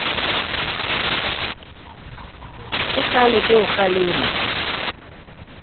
ke kgale ke o kgalema